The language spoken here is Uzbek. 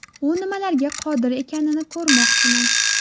U nimalarga qodir ekanini ko‘rmoqchiman.